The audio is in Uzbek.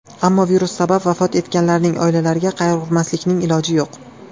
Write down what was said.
Ammo virus sabab vafot etganlarning oilalariga qayg‘urmaslikning iloji yo‘q.